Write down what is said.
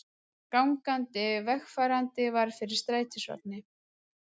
Gangandi vegfarandi varð fyrir strætisvagni